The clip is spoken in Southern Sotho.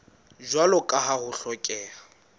jwalo ka ha ho hlokeha